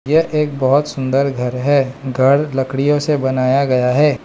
यह एक बहुत सुंदर घर है। घर लकड़ियों से बनाया गया है।